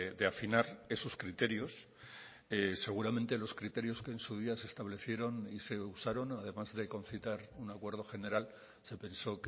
de afinar esos criterios seguramente los criterios que en su día se establecieron y se usaron además de concitar un acuerdo general se pensó